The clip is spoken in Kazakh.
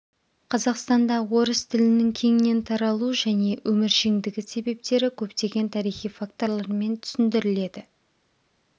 қазақстанда орыс тілінің кеңінен таралу және өміршеңдігі себептері көптеген тарихи факторлармен түсіндіріледі